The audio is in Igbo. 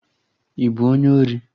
Ị bụ onye ori?